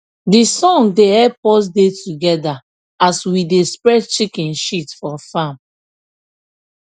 de sun da help us da together as we da spread chicken shit for farm